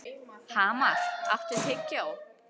Hamar, áttu tyggjó?